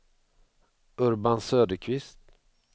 Urban Söderqvist